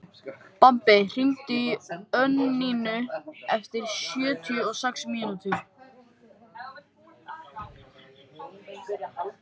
Bambi, hringdu í Önnuínu eftir sjötíu og sex mínútur.